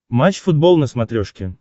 матч футбол на смотрешке